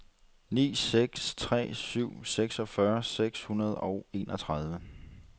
ni seks tre syv seksogfyrre seks hundrede og enogtredive